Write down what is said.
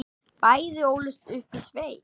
Bæði ólust upp í sveit.